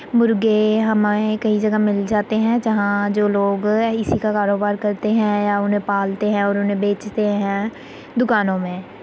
मुर्गे हमे कई जगह मिल जाते है। जहां जो लोग इसी का कारोबार करते है या उन्हें पालते है और उन्हें बेचते है दुकानों में --